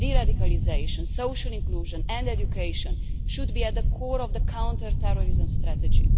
Deradicalisation, social inclusion and education should be at the core of the counter terrorism strategy.